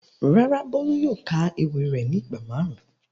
Rárá, Bolu yóò ka ewi re ni igba marun.